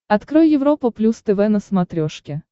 открой европа плюс тв на смотрешке